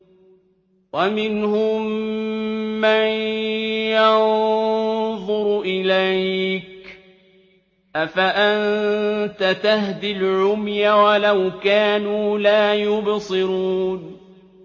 وَمِنْهُم مَّن يَنظُرُ إِلَيْكَ ۚ أَفَأَنتَ تَهْدِي الْعُمْيَ وَلَوْ كَانُوا لَا يُبْصِرُونَ